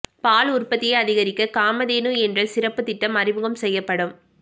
பால் உற்பத்தியை அதிகரிக்க காதமதேனு என்ற சிறப்பு திட்டம் அறிமுகம் செய்யப்படும்